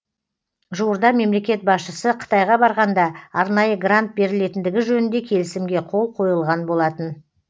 жуырда мемлекет басшысы қытайға барғанда арнайы грант берілетіндігі жөнінде келісімге қол қойылған болатын